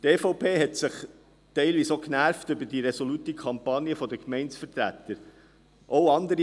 Die EVP hat sich teilweise auch über die resolute Kampagne der Gemeindevertreter aufgeregt.